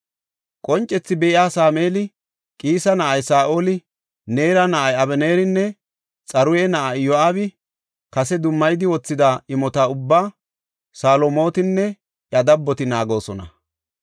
Qoncethi be7iya Sameeli, Qiisa na7ay Saa7oli, Neera na7ay Abeneerinne Xaruya na7ay Iyo7aabi kase dummayidi wothida imota ubbaa Salomootinne iya dabboti naagoosona.